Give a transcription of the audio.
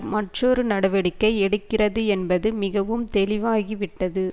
மற்றொரு நடவடிக்கை எடுக்கிறது என்பது மிகவும் தெளிவாகிவிட்டது